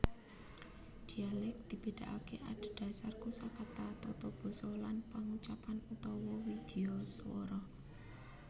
Dhialèk dibédakaké adedasar kosakata tatabasa lan pangucapan utawa widyaswara